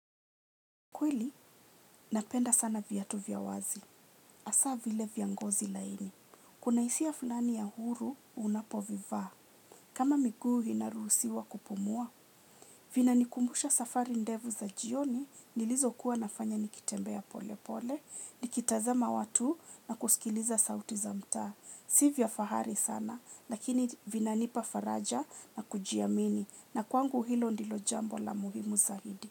Kweli, napenda sana viatu vya wazi. Hasa vile vya ngozi laini. Kuna hisia fulani ya huru, unapovivaa. Kama miguu inaruhusiwa kupumua. Vinanikumbusha safari ndefu za jioni, nilizo kuwa nafanya nikitembea pole pole, nikitazama watu na kusikiliza sauti za mtaa. Si vya fahari sana, lakini vinanipa faraja na kujiamini na kwangu hilo ndilo jambo la muhimu zaidi.